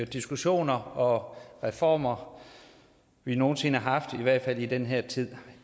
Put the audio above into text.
diskussioner og reformer vi nogen sinde har haft i hvert fald i den her tid